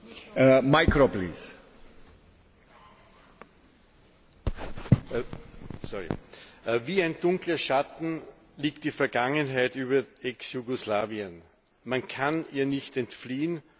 Herr Präsident! Wie ein dunkler Schatten liegt die Vergangenheit über Ex Jugoslawien. Man kann ihr nicht entfliehen, und daher dürfen die Verbrechen weder verharmlost noch unter den Tisch gekehrt werden.